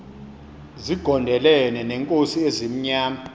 zigondelene neenkosi ezimnyama